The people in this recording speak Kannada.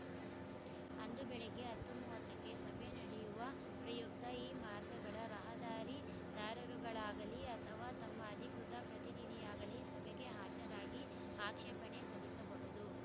ಅಂದು ಬೆಳಿಗ್ಗೆ ಹತ್ತು ಮೂವತ್ತಕ್ಕೆ ಸಭೆ ನಡೆಯುವ ಪ್ರಯುಕ್ತ ಈ ಮಾರ್ಗಗಳ ರಹದಾರಿದಾರರುಗಳಾಗಲಿ ಅಥವಾ ತಮ್ಮ ಅಧಿಕೃತ ಪ್ರತಿನಿಧಿಯಾಗಲಿ ಸಭೆಗೆ ಹಾಜರಾಗಿ ಆಕ್ಷೇಪಣೆ ಸಲ್ಲಿಸಬಹುದು